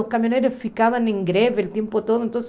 Os caminhoneiros ficavam em greve o tempo todo.